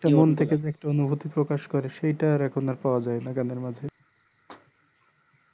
মন থেকে যে একটা অনুভূতি প্রকাশ করে সেটা আর পাওয়া যায়না গান এর মাধ্যমে